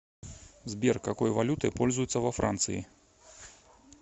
сбер какой валютой пользуются во франции